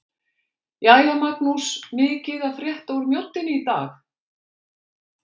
Jæja Magnús- mikið að frétta úr Mjóddinni í dag?